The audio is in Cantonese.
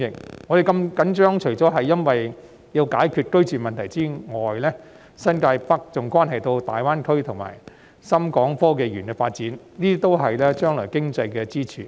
我們如此緊張，不僅因為要解決居住問題，更因為新界北關乎大灣區及港深創新及科技園的發展，這些都是將來的經濟支柱。